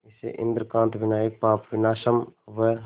इसे इंद्रकांत विनायक पापविनाशम व